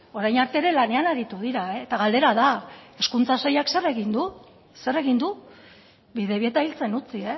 orain arte ere lanean aritu dira eta galdera da hezkuntza sailak zer egin du zer egin du bidebieta hiltzen utzi